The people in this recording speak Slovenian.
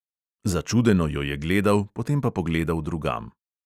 Začudeno jo je gledal, potem pa pogledal drugam.